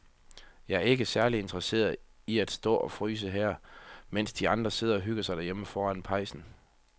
Jeg er ikke særlig interesseret i at stå og fryse her, mens de andre sidder og hygger sig derhjemme foran pejsen.